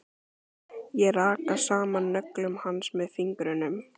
Ég raka saman nöglum hans með fingrunum.